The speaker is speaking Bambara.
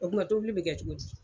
O tuma tobili bɛ kɛ cogo di?